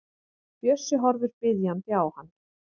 Bjössi horfir biðjandi á hann.